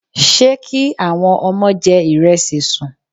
Ṣé kí àwọn ọmọ jẹ ìrẹsì sùn?